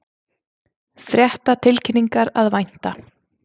Fréttatilkynningar að vænta